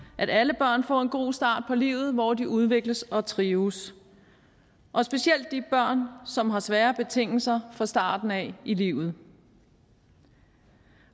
at alle børn får en god start på livet hvor de udvikles og trives specielt de børn som har svære betingelser fra starten af i livet